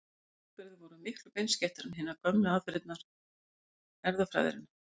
Þessar aðferðir voru miklu beinskeyttari en hinar gömlu aðferðir erfðafræðinnar.